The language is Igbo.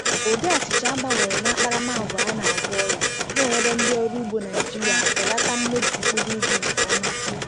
Ụdị achịcha a gbanwere n’akparamàgwà ya na-agwọ ọrịa, na-enyere ndị ọrụ ugbo Naịjirịa belata mmebi mkpụrụ ubi nke ọma.